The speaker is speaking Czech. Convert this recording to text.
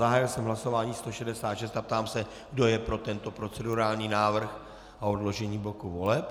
Zahájil jsem hlasování 166 a ptám se, kdo je pro tento procedurální návrh a odložení bloku voleb.